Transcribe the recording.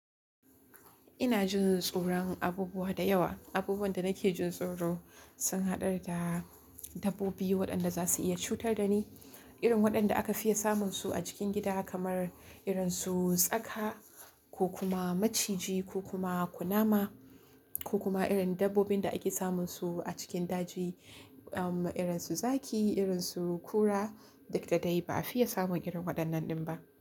Ina jin tsoron abubuwa da yawa. Abubuwan da nake jin tsoro sun haɗa da dabbobi waɗanda za su iya cutar da ni, irin waɗanda aka fiya samun su a cikin gida kamar irin su tsaka ko kuma maciji ko kuma kunama ko kuma irin dabbobin da ake samun su a cikin daji, um, irin su zaki, irin su kura da da dai ba a fiya samun irin waɗannan din ba.